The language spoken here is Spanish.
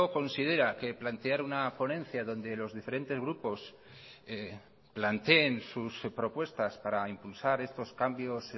considera que plantear una ponencia donde los diferentes grupos planteen sus propuestas para impulsar estos cambios